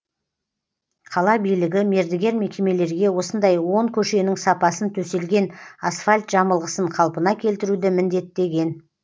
қала билігі мердігер мекемелерге осындай он көшенің сапасын төселген асфальт жамылғысын қалпына келтіруді міндеттеген